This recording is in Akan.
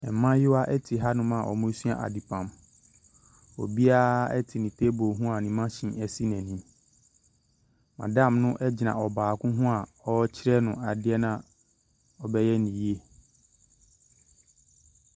Mmaayewa te hanom a wɔresua adepam, obiara te ne table ho a ne machine si n’anim, madam no gyina ɔbaako ho a ɔrekyerɛ no adeɛ no a ɔbɛyɛ no yie.